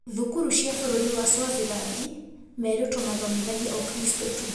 Thukuru cia bũrũri wa Swaziland merĩtwe mathomithagie Ukristo tu